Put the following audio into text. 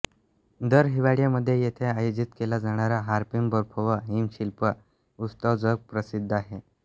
दर हिवाळ्यामध्ये येथे आयोजित केला जाणारा हार्पिन बर्फ व हिम शिल्प उत्सव जगप्रसिद्ध आहे